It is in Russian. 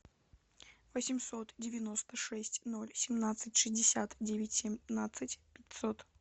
восемьсот девяносто шесть ноль семнадцать шестьдесят девять семнадцать пятьсот